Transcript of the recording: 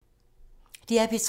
DR P3